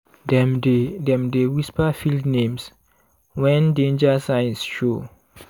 dem dey dem dey whisper field names when danger signs show.